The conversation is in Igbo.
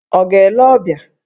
Ọ̀ ga-ele ọbịa?